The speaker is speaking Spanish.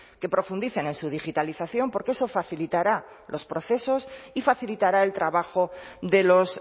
que profundicen en su digitalización porque eso facilitará los procesos y facilitará el trabajo de los